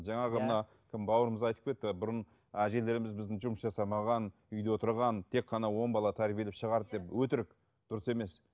жаңағы мына кім бауырымыз айтып кетті бұрын әжелеріміз біздің жұмыс жасамаған үйде отырған тек қана он бала тәрбиелеп шығарды деп өтірік дұрыс емес